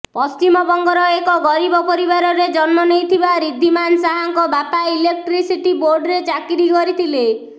ପଶ୍ଚିମବଙ୍ଗର ଏକ ଗରିବ ପରିବାରରେ ଜନ୍ମ ନେଇଥିବା ରିଦ୍ଧିମାନ ଶାହାଙ୍କ ବାପା ଇଲେକ୍ଟ୍ରିସିଟି ବୋର୍ଡରେ ଚାକିରି କରିଥିଲେ